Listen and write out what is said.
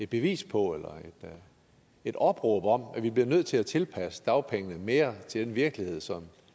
bevis på eller et opråb om at vi bliver nødt til at tilpasse dagpengene mere til den virkelighed som